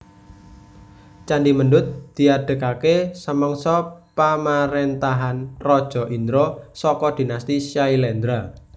Candhi Mendut diadegaké samangsa pamaréntahan Raja Indra saka dinasti Syailendra